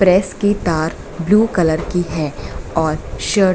press की तार blue colour की है और शर्ट --